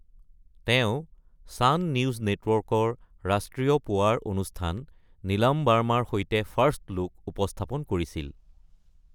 তেওঁ Sun News নেটৱৰ্কৰ ৰাষ্ট্ৰীয় পুৱাৰ অনুষ্ঠান নীলাম ভাৰ্মাৰ সৈতে ফাৰ্ষ্ট লুক উপস্থাপন কৰিছিল।